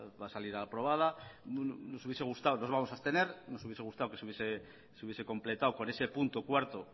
va a salir aprobada nos vamos a abstener nos hubiese gustado que se hubiese completado con ese punto cuatro